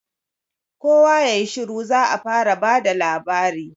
kowa yayi shiru za'a fara bada labari